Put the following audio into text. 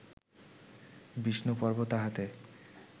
বিষ্ণুপর্ব তাহাতে